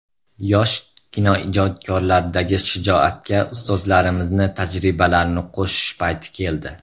Yosh kinoijodkorlardagi shijoatga ustozlarimizni tajribalarini qo‘shish payti keldi.